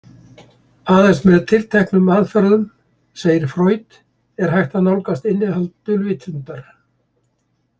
Aðeins með tilteknum aðferðum, segir Freud, er hægt að nálgast innihald dulvitundar.